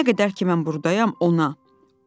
Nə qədər ki mən burdayam, ona.